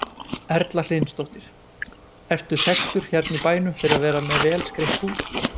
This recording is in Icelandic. Erla Hlynsdóttir: Ertu þekktur hérna í bænum fyrir að vera með vel skreytt hús?